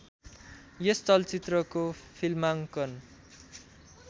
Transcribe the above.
यस चलचित्रको फिल्माङ्कन